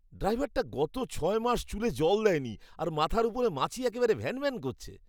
ড্রাইভারটা গত ছয় মাস চুলে জল দেয়নি আর মাথার ওপর মাছি একেবেরে ভ্যানভ্যান করছে।